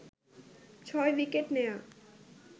৬ wicket নেয়া